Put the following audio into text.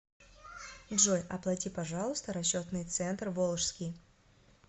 джой оплати пожалуйста расчетный центр волжский